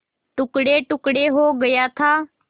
टुकड़ेटुकड़े हो गया था